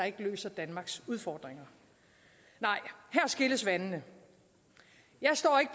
ikke løser danmarks udfordringer nej her skilles vandene jeg står ikke